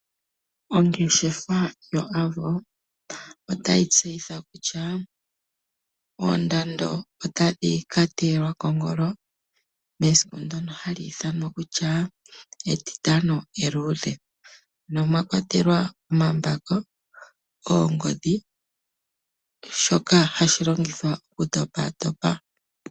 Ongeshefa yo Avo otayi tseyitha kutya oondando otadhi ka teyelwa kongolo mesiku ndono hali ithanwa kutya etitano eluudhe. No mwa kwatelwa omambako, oongodhi, shoka hashi longithwa okutopatopa.